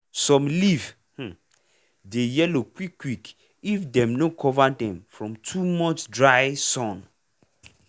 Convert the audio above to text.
some leaf um dey yellow quick quick if dem no cover dem from too much dry um sun.